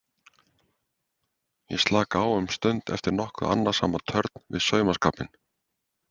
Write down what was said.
Ég slaka á um stund eftir nokkuð annasama törn við saumaskapinn.